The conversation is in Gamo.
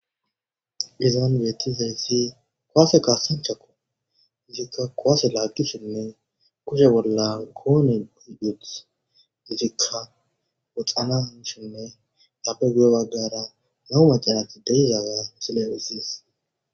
Dizan bietti zayssi kowaase kassanchako zikka koaase laaggisinne kushe bolla koone guhiduth izikka woxana nshinne dabe guyo baggara nahu macanati deizaaga misilephisis.